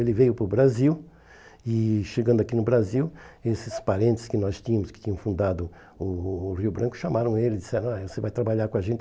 Ele veio para o Brasil e chegando aqui no Brasil, esses parentes que nós tínhamos, que tinham fundado o o Rio Branco, chamaram ele e disseram, você vai trabalhar com a gente?